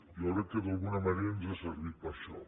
jo crec que d’alguna manera ens ha servit per això